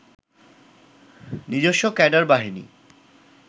নিজস্ব ক্যাডার বাহিনী